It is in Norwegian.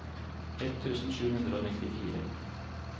ett tusen sju hundre og nittifire